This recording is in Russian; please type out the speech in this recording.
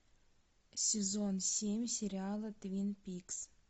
сезон семь сериала твин пикс